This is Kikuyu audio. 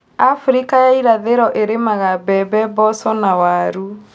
Afrika ya irathĩro ilimaga mbembe, mboco na waru